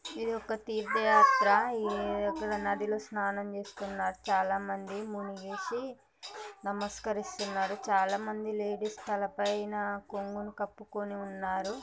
ఇది ఒక తీర్థయాత్ర. ఈ ఇక్కడ నదిలో స్నానం చేస్తున్నారు చాలామంది మునిగేసి నమస్కరిస్తున్నారు. చాలామంది లేడీస్ తల పైన కొంగుని కప్పుకొని ఉన్నారు.